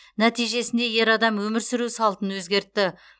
нәтижесінде ер адам өмір сүру салтын өзгертті